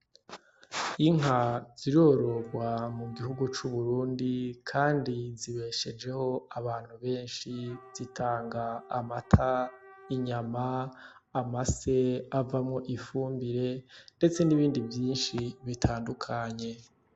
Inka zirororwa mu gihugu c'Uburundi kandi zibeshejeho abantu benshi, zitanga amata, inyama, amase avamwo ifumbire ndetse n'ibindi vyinshi bitandukanye.